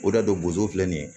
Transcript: O de y'a to bozo filɛ nin ye